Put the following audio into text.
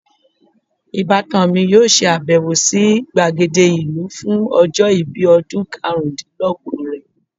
ibatan mi yoo se abewo si gbagede ilu fun ojo ibi odun karundinlogbon re